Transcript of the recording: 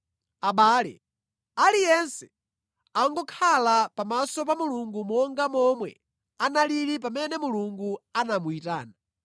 Abale, aliyense angokhala pamaso pa Mulungu monga momwe analili pamene Mulungu anamuyitana.